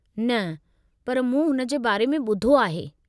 न, पर मूं हुन जे बारे में ॿुधो आहे।